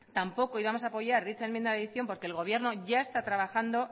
tampoco íbamos a apoyar dicha enmienda de adición porque el gobierno ya está trabajando